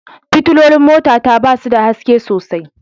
Fitilolin mota ta ba su da haske sosai